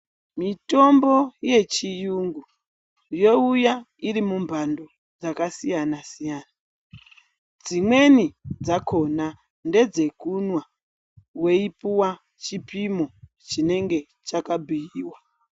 Mitombo yechiyungu youya iri mumandu dzakasiyana siyana dzimweni dzakona ndedzekumwa wepuwa chipimo chinenge chakabhuiwa.